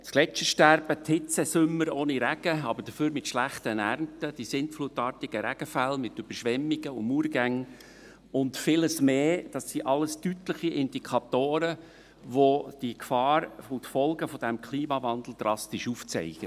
Das Gletschersterben, die Hitzesommer ohne Regen, dafür mit schlechten Ernten, die sintflutartigen Regenfälle mit Überschwemmungen und Murgängen und vieles mehr – das alles sind deutliche Indikatoren, welche die Gefahren und Folgen des Klimawandels drastisch aufzeigen.